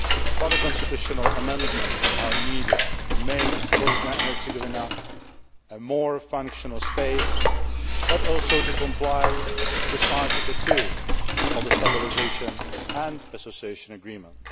Further constitutional amendments are needed to make Bosnia and Herzegovina a more functional state, but also to comply with Article 2 of the stabilisation and association agreement.